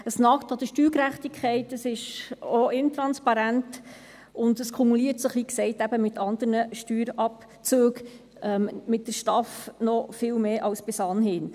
Es nagt an der Steuergerechtigkeit, es ist auch intransparent und kumuliert sich, wie gesagt, mit anderen Steuerabzügen, mit der STAF, noch viel mehr als bis anhin.